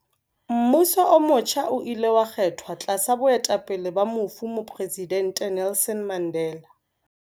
Mmuso o motjha o ile wa kgethwa tlasa boetapele ba mofu Mopresidente Nelson Mandela.